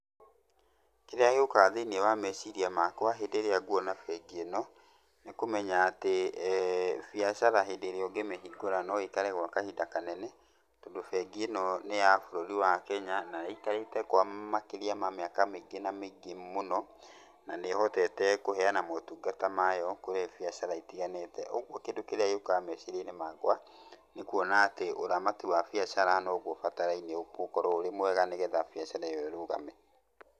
Kĩrĩa gĩũkaga thĩiniĩ wa meciria makwa hĩndĩ ĩrĩa nguona bengi ĩno, nĩ kũmenya atĩ biacara hĩndĩ ĩrĩa ũngĩ mĩhingũra no ĩikare gwa kahinda kanene. Tondũ bengi ĩno nĩ ya bũrũri wa Kenya na ĩikarĩte kwa makĩrĩa ma mĩaka mĩingĩ na mĩingĩ mũno, na nĩ ĩhotete kũheana maũtungata mayo kũrĩ biacara itiganĩte. Ũguo kĩndũ kĩrĩa gĩũkaga meciria-inĩ makwa nĩ kũona atĩ ũramati wa biacara no guo ũbataraine gũkorwo ũrĩ mwega nĩgetha biacara ĩyo ĩrũgame.